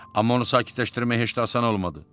Amma onu sakitləşdirmək heç də asan olmadı.